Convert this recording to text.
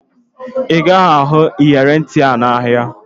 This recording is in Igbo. Ị gaghị ahụ iyeri ntị ahụ n'ahịa